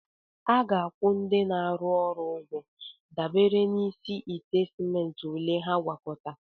A ga-akwụ ndị na-arụ ọrụ ụgwọ dabere n'isi ite simenti ole ha na-agwakọta.